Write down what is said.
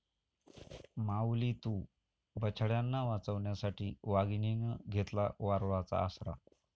माऊली तू...,बछड्यांना वाचवण्यासाठी वाघिणीनं घेतला वारूळाचा आसरा!